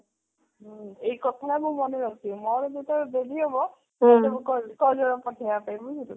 ହୁଁ ଏଇ କଥା ଟା ମୁଁ ମନେ ରଖିବି ମୋର ଯେତେବେଳେ baby ହବ ସେତେବେଳେ ମୁଁ କହିବି କଜଳ ପଠେଇବା ପାଇଁ ବୁଝିଲୁ